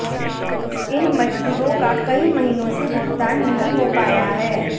इन मजदूरों का कई महीनों से भुगतान नहीं हो पाया है